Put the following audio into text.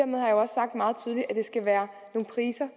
skal være nogle priser